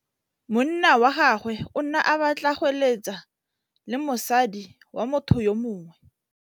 Monna wa gagwe o ne a batla go êlêtsa le mosadi wa motho yo mongwe.